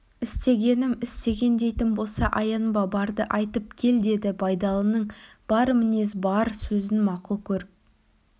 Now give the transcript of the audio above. істегенім істеген дейтін болса аянба барды айтып кел деді байдалының бар мінез бар сөзін мақұл көріп